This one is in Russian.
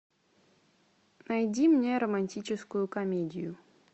найди мне романтическую комедию